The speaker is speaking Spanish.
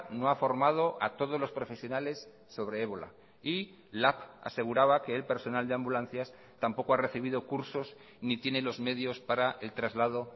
no ha formado a todos los profesionales sobre ébola y lab aseguraba que el personal de ambulancias tampoco ha recibido cursos ni tiene los medios para el traslado